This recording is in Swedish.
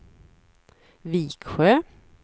Viksjö